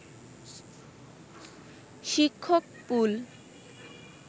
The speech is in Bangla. শিক্ষক পুল